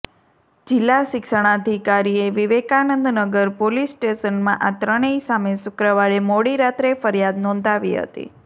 જિલ્લા શિક્ષણાધિકારીએ વિવેકાનંદનગર પોલીસ સ્ટેશનમાં આ ત્રણેય સામે શુક્રવારે મોડી રાત્રે ફરિયાદ નોંધાવી હતી